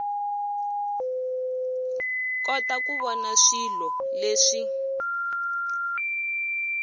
kota ku vona swilo leswi